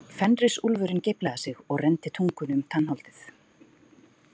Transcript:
Fenrisúlfurinn geiflaði sig og renndi tungunni um tannholdið.